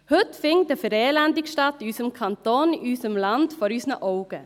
Heute findet eine Verelendung in unserem Kanton, in unserem Land, statt, vor unseren Augen.